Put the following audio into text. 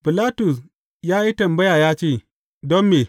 Bilatus ya yi tambaya ya ce, Don me?